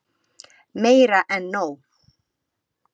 Meira en nóg.